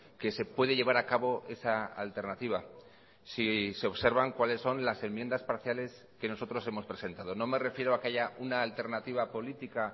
que se puede llevar a cabo esa alternativa si se observan cuáles son las enmiendas parciales que nosotros hemos presentado no me refiero a que haya una alternativa política